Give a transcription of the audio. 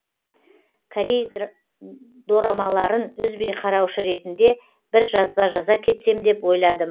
корей дорамаларын үзбей қараушы ретінде бір жазба жаза кетсем деп ойладым